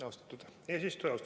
Austatud eesistuja!